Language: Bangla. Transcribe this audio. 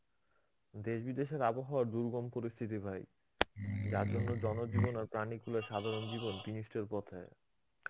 দেশ বিদেশের আবহাওয়ার দুর্গম পরিস্থিতি ভাই. যার জন্য জনজীবন আর প্রাণী খুলে সাধারণ জীবন বিনিষ্টের পথে